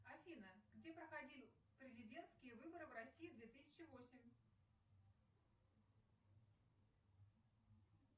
афина где проходил президентские выборы в россии две тысячи восемь